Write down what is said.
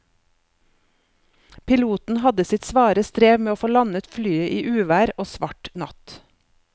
Piloten hadde sitt svare strev med å få landet flyet i uvær og svart natt.